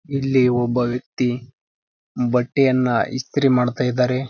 ಇಲ್ಲಿ ಒಬ್ಬ ವ್ಯಕ್ತಿ ಬಟ್ಟೆಯನ್ನ ಇಸ್ತ್ರಿ ಮಾಡ್ತಾ ಇದಾರೆ.